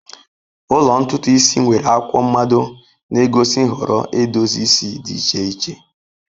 Ụlọ ntutu isi nwere akwụkwọ mmado na-egosi nhọrọ edozi isi dị iche iche.